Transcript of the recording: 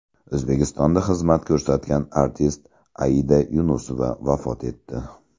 O‘zbekistonda xizmat ko‘rsatgan artist Aida Yunusova vafot etdi.